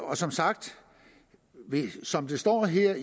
og som sagt som det står her